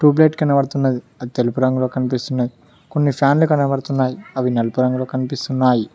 Tube light కనపడుతున్నది అది తెలుపు రంగులో కనిపిస్తున్నాయి కొన్ని ఫ్యామిలీ కనబడుతున్నాయి అవి నలుపు రంగులో కనిపిస్తున్నాయి.